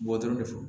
Bɔ dɔrɔn de fɔ